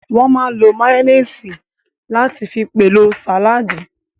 Wọ́n máa n lo máyóníìsì láti fi pèlò sàládì